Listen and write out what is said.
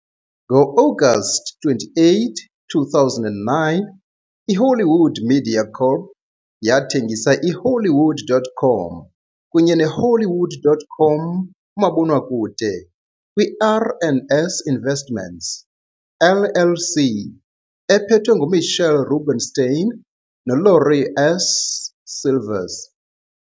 Ngo-Agasti 28, 2009, iHollywood Media Corp. yathengisa iHollywood.com kunye neHollywood.com umabonakude kwiR and S Investments, LLC, ephethwe nguMitchell Rubenstein noLaurie S. Silvers.